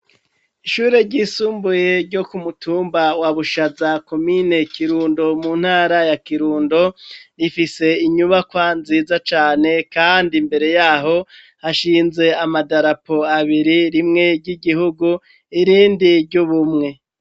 Ishure ryisumbuye ryo ku mutumba wa Bushaza komine Kirundo mu ntara ya Kirundo rifise inyubakwa nziza cane kandi imbere yaho hashinze amadarapo abiri rimwe ry'igihugu irindi ry'ubumwe.